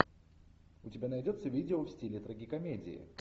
у тебя найдется видео в стиле трагикомедии